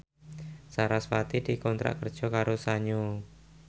sarasvati dikontrak kerja karo Sanyo